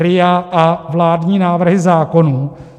RIA a vládní návrhy zákonů.